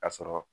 Ka sɔrɔ